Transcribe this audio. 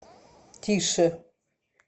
тише